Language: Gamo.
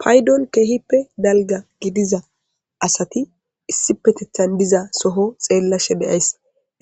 paydon keehippe dalga gidiza asati issi petethan diza soho xeella she beyays